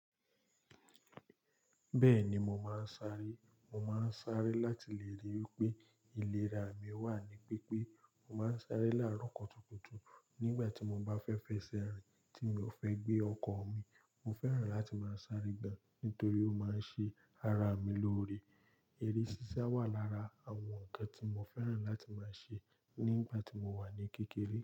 Bẹ́ẹ̀ni mo máa ń sáré. Mo máa ń sáré láti lè ríi wípé ìlera mi wà ní pípé. Mo máa ń sáré láàárọ̀ kutu kutu nígbà tí mo bá fẹ́ fẹsẹ̀ rìn tí mi ò fẹ́ gbé ọkọ̀ mi. Mo fẹ́ràn láti máa ń sáré gan nítorí ó máa ń ṣe ara mi lóore. Eré ṣíṣá wà lára àwọn ǹkan tí mo fẹ́ràn láti máa ṣe nígbà tí mo wà ní kékeré.